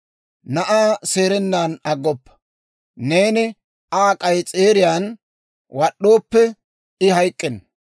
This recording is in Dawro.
Na'aa seerennan aggoppa; neeni Aa k'ayis'eeriyaan wad'd'ooppe, I hayk'k'enna.